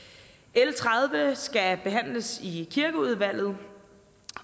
l tredive skal behandles i kirkeudvalget